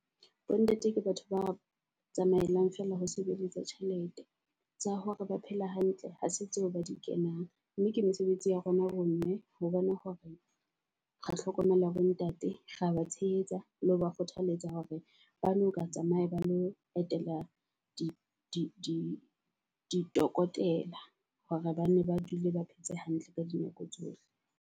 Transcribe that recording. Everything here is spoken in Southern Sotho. Bo ntate ke batho ba tsamaelang feela ho sebeletsa tjhelete tsa hore ba phela hantle ha se tseo ba di kenang. Mme ke mesebetsi ya rona bo mme ho bona hore re hlokomela bo ntate rea ba tshehetsa le ho ba kgothaletsa hore ba no ka tsamaya ba lo etela di di di tokodela hore bane ba dule ba phetse hantle ka dinako tsohle.